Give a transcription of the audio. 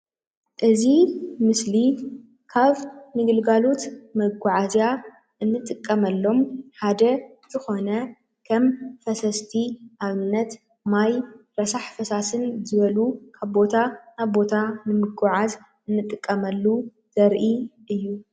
እዚ ምስሊ ካብ ንግልጋሎት መጓዓዝያ እንጥቀመሎም ሓደ ዝኮነ ከም ፈሰስቲ ኣብነት ማይ፣ ረሳሕ ፈሳስን ዝበሉ ካብ ቦታ ናብ ቦታ ንምጉዓዝ አንጥቀመሉ ዘርኢ እዩ።